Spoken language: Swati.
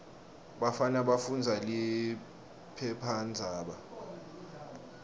bafana bafundza liphephandzaba